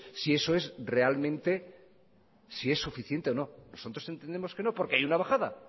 si eso es realmente si es suficiente o no nosotros entendemos que no porque hay una bajada